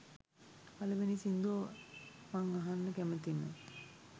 පළවෙනි සින්දුව මං අහන්න කැමතිම